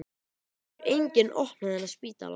Það getur enginn opnað þennan spítala.